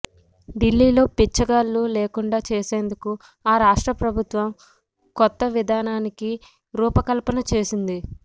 ఢిల్లీలో బిచ్చగాళ్ళు లేకుండా చేసేందుకు ఆ రాష్ట్ర ప్రభుత్వం ఓ కొత్త విధానానికి రూపకల్పన చేసింది